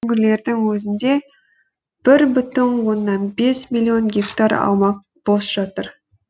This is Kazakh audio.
өңірлердің өзінде бір бүтін оннан бес миллион гектар аумақ бос жатыр